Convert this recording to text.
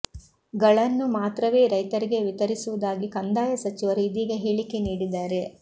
ಗಳನ್ನು ಮಾತ್ರವೇ ರೈತರಿಗೆ ವಿತರಿಸುವುದಾಗಿ ಕಂದಾಯ ಸಚಿವರು ಇದೀಗ ಹೇಳಿಕೆ ನೀಡಿದ್ದಾರೆ